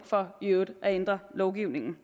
for i øvrigt at ændre lovgivningen